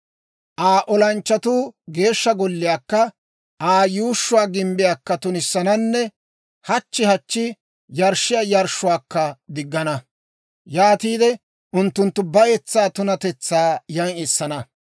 «Aa olanchchatuu Geeshsha Golliyaakka Aa yuushshuwaa gimbbiyaakka tunissananne hachchi hachchi yarshshiyaa yarshshuwaakka diggana. Yaatiide unttunttu bayetsaa tunatetsaa yan essana.